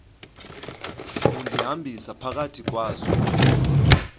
undihambisa phakathi kwazo